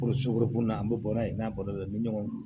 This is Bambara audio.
an bɛ bɔra yen n'a kɔlɔlɔ dɔ bɛ ɲɔgɔn na